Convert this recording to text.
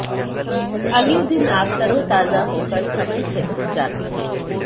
अगले दिन आप तरोताजा होकर समय से उठ जाते हैं